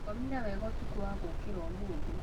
Ngomire wega ũtukũwa gũũkĩra ũmũthĩ